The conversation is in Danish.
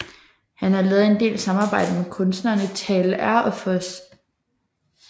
Han har lavet en del samarbejde med kunstnerne Tal R og Fos